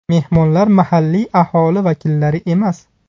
Mehmonlar mahalliy aholi vakillari emas.